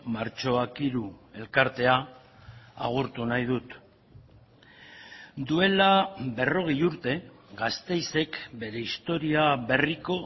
martxoak hiru elkartea agurtu nahi dut duela berrogei urte gasteizek bere historia berriko